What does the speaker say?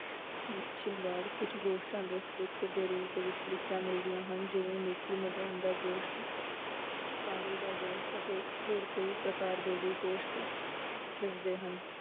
ਸ~ ਸ਼ਿੰਗਾਰ ਕੁਛ ਗੋਸ਼ਟਾਂ ਦੇ ਦੇ ਰੂਪ ਵਿੱਚ ਲਿਖੀਆਂ ਮਿਲਦੀਆਂ ਹਨ, ਜਿਵੇਂ ਦਾ ਗੋਸ਼ਟ ਦਾ ਗੋਸ਼ਟ ਅਤੇ ਹੋਰ ਕਈ ਪ੍ਰਕਾਰ ਦੇ ਵੀ ਗੋਸ਼ਟ ਦੱਸਦੇ ਹਨ